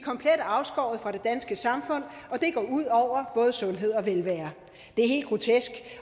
komplet afskåret fra det danske samfund og det går ud over både sundhed og velvære det er helt grotesk